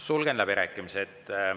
Sulgen läbirääkimised.